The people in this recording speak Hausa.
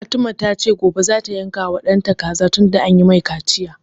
Fatima ta ce gobe za ta yanka wa ɗanta kaza tunda an yi mai kaciya